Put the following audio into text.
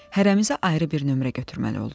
Hərəmizə ayrı bir nömrə götürməli olduq.